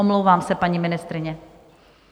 Omlouvám se, paní ministryně.